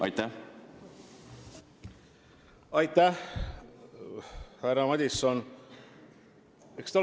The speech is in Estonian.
Aitäh, härra Madison!